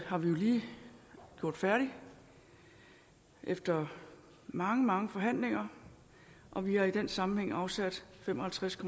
har vi jo lige gjort færdig efter mange mange forhandlinger og vi har i den sammenhæng afsat fem og halvtreds